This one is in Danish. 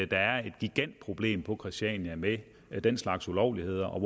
der er et gigantproblem på christiania med den slags ulovligheder og